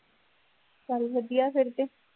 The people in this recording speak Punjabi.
ਚੱਲ ਵਧੀਆ ਫੇਰ ਤੇ